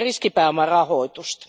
riskipääomarahoitusta.